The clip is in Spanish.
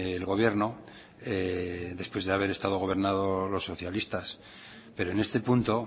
el gobierno después de haber estado gobernado los socialistas pero en este punto